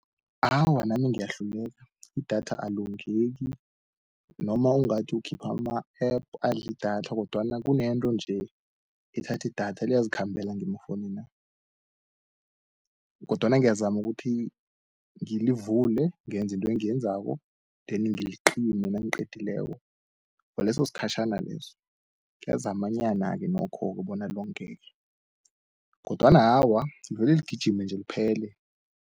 Awa nami ngiyahluleka, idatha alongeki noma ungathi ukhipha ama-app adli idatha, kodwana kunento nje, ethathi idatha liyazikhambela ngemafounina, kodwana ngiyazama ukuthi ngilivule ngenzi intwe engiyenzako, then ngilicime nangiqedileko. Kwaleso skhatjhana leso kiyazamanyana-ke nokhoke bona longeke, kodwana awa vele ligijime nje liphele.